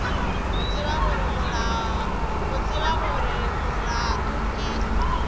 go tseba gore molato ke